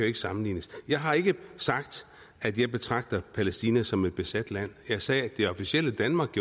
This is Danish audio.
ikke sammenlignes jeg har ikke sagt at jeg betragter palæstina som et besat land jeg sagde at det officielle danmark